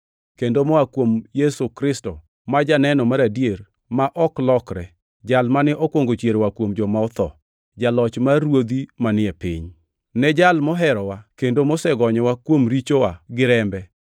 kendo moa kuom Yesu Kristo, ma janeno mar adier ma ok lokre, jal mane okwongo chier oa kuom joma otho, jaloch mar ruodhi manie piny. Ne Jal moherowa kendo mosegonyowa kuom richowa gi rembe,